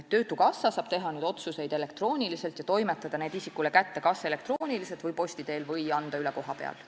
Töötukassa saab nüüd teha otsuseid elektrooniliselt ja toimetada need isikule kätte kas elektrooniliselt, posti teel või anda üle kohapeal.